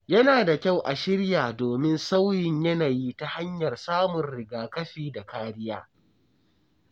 Yana da kyau a shirya domin sauyin yanayi ta hanyar samun rigakafi da kariya.